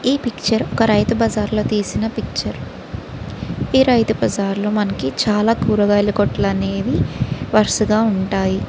ఈ పిక్చర్ ఒక రైతు బజార్లో తీసిన పిక్చర్ . ఈ రైతు బజార్లో మనకి చాలా కూరగాయకొట్లు అనేవి వరుసగా ఉంటాయి.